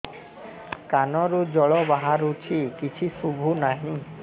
କାନରୁ ଜଳ ବାହାରୁଛି କିଛି ଶୁଭୁ ନାହିଁ